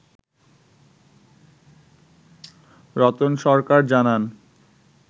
রতন সরকার জানান